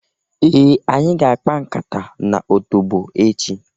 Ee! Anyị ga-akpa nkata n'otobo echị.